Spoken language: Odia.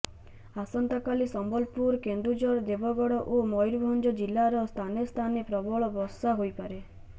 ଆସନ୍ତାକାଲି ସମ୍ବଲପୁର କେନ୍ଦୁଝର ଦେବଗଡ଼ ଓ ମୟୂରଭଞ୍ଜ ଜିଲ୍ଲାର ସ୍ଥାନେ ସ୍ଥାନେ ପ୍ରବଳ ବର୍ଷା ହୋଇପାରେ